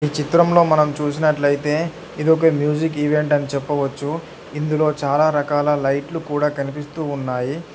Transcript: చిత్రంలో మనం చూసినట్లయితే ఇది ఒక మ్యూజిక్ ఈవెంట్ అని చెప్పవచ్చు ఇందులో చాలా రకాల లైట్లు కూడా కనిపిస్తూ ఉన్నాయి.